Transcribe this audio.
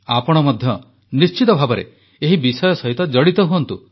ଆପଣ ମଧ୍ୟ ନିଶ୍ଚିତ ଭାବରେ ଏହି ବିଷୟ ସହିତ ଜଡିତ ହୁଅନ୍ତୁ